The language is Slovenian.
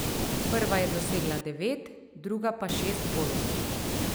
Prva je dosegla devet, druga pa šest golov.